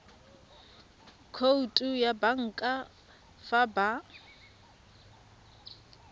khoutu ya banka fa ba